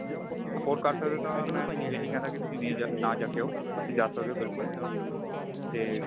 afford ਕਰ ਸਕਦੇ ਓ ਤਾਂ ਮੈਂ ਇਹ ਨਹੀਂ ਕਹਿੰਦਾ ਕੀ ਤੁਸੀਂ ਨਾ ਜਾ ਕੇ ਆਉ ਉੱਥੇ ਜਾ ਸਕਦੇ ਓ ਬਿਲਕੁਲ ਤੇ